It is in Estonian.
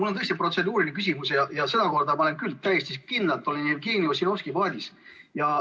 Mul on tõesti protseduuriline küsimus ja sedakorda olen ma küll täiesti kindlalt Jevgeni Ossinovski paadis.